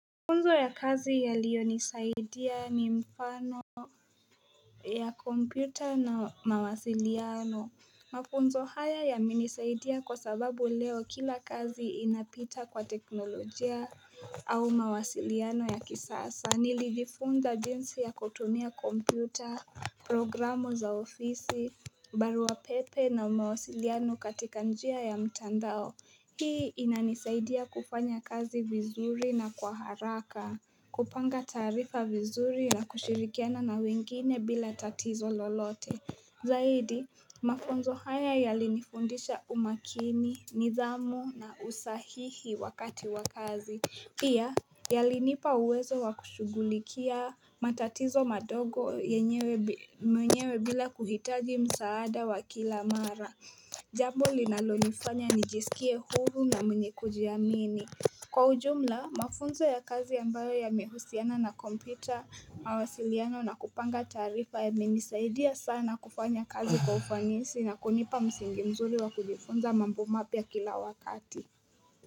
Mafunzo ya kazi yalionisaidia ni mfano ya kompyuta na mawasiliano Mafunzo haya yamenisaidia kwa sababu leo kila kazi inapita kwa teknolojia au mawasiliano ya kisasa Nilijifunza jinsi ya kutumia kompyuta, programu za ofisi, barua pepe na mawasiliano katika njia ya mtandao Hii inanisaidia kufanya kazi vizuri na kwa haraka kupanga taarifa vizuri na kushirikiana na wengine bila tatizo lolote Zaidi, mafunzo haya yalinifundisha umakini, nidhamu na usahihi wakati wa kazi pia, yalinipa uwezo wa kushugulikia matatizo madogo yenyewe mwenyewe bila kuhitaji msaada wa kila mara Jambo linalonifanya nijisikie huru na mwenye kujiamini Kwa ujumla mafunzo ya kazi ambayo yamehusiana na kompyuta mawasiliano na kupanga taarifa yamenisaidia sana kufanya kazi kwa ufanisi na kunipa msingi mzuri wa kujifunza mambo mapya kila wakati.